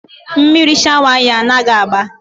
Mmiri shawa anyị anaghị agba.